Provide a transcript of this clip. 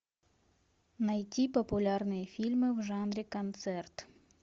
найти популярные фильмы в жанре концерт